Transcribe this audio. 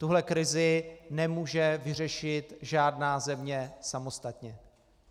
Tuhle krizi nemůže vyřešit žádná země samostatně.